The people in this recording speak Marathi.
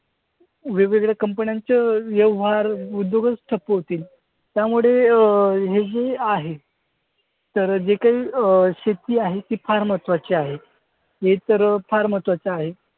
वेगवेगळ्या कंपन्यांचे व्यवहार, उद्योगच ठप्प होतील. त्यामुळे अं हे जे आहे तर जे काही अं शेती आहे ती फार महत्वाची आहे. हे तर फार महत्वाचं आहे.